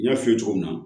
N y'a f'i ye cogo min na